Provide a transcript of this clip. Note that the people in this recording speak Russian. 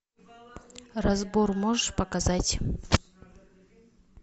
разбор можешь показать